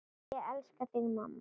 Ég elska þig mamma.